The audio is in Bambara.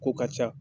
Ko ka ca